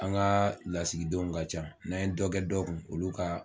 An ga lasigidenw ka ca n'an ye dɔ kɛ dɔ kun olu ka